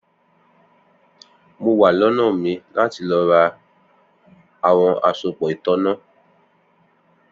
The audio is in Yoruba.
Mo wa lónà mi lati lọ ra awọn asopọ itanna